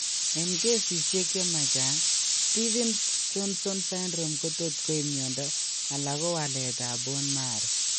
Eng' kesisiek chemachang' Stevens Johnson syndrome kotot koib mionndo ala ko waleet ab bone marrow